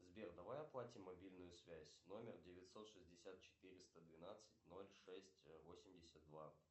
сбер давай оплатим мобильную связь номер девятьсот шестьдесят четыреста двенадцать ноль шесть восемьдесят два